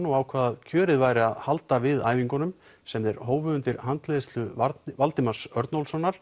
og ákváðu að kjörið væri að halda við æfingunum sem þeir hófu undir handleiðslu Valdimars